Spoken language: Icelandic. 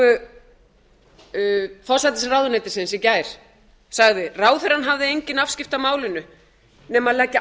í yfirlýsingu forsætisráðuneytisins í gær sagði ráðherrann hafði engin afskipti á málinu nema leggja